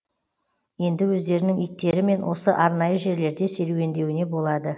енді өздерінің иттерімен осы арнайы жерлерде серуендеуіне болады